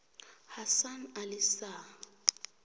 hasan ali shah